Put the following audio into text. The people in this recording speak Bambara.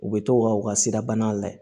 U bɛ t'o ka u ka sirabana layɛ